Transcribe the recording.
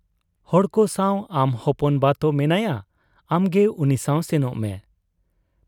ᱦᱚᱲᱠᱚ ᱥᱟᱶ ᱟᱢ ᱦᱚᱯᱚᱱ ᱵᱟᱛᱳ ᱢᱮᱱᱟᱭᱟᱸ, ᱟᱢᱜᱮ ᱩᱱᱤᱥᱟᱶ ᱥᱮᱱᱚᱜ ᱢᱮ ᱾